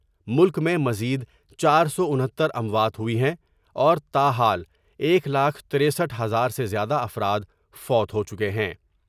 ملک میں مزید چار سو انہتر اموات ہوئی ہیں اور تاحال ایک لاکھ ترستھ ہزار سے زیادہ افراد فوت ہو چکے ہیں ۔